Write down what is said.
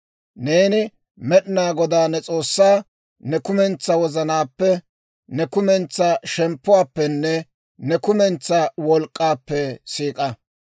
Neeni Med'inaa Godaa ne S'oossaa ne kumentsaa wozanaappe, ne kumentsaa shemppuwaappenne ne kumentsaa wolk'k'aappe siik'a.